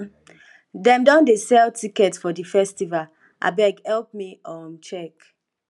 dem don dey sell ticket for di festival abeg help me um check